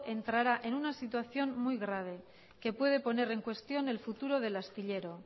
entrará en una situación muy grave que puede poner en cuestión el futuro del astillero